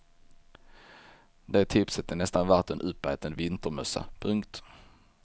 Det tipset är nästan värt en uppäten vintermössa. punkt